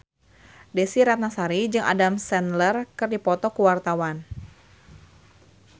Desy Ratnasari jeung Adam Sandler keur dipoto ku wartawan